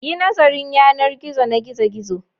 Yi nazarin yanar gizo na gizo-gizo